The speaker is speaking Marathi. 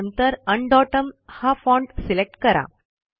आणि नंतर उन डोटम हा फाँट सिलेक्ट करा